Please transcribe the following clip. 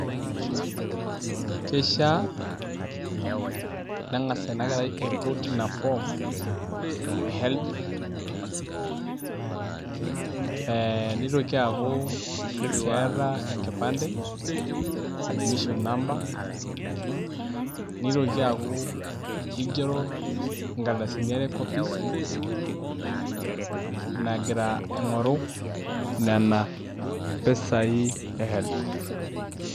Keishiaa neng'as ina kerai aiput ina form e HELB ee nitoki aaku keeta enkipande, admission number nitoki aaku igero nkardasini are copies naagira aing'oru nena pesai e HELB.